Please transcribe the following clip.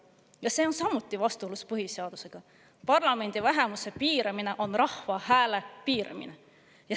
Ja see on samuti vastuolus põhiseadusega: parlamendi vähemuse piiramine on rahva hääle piiramine.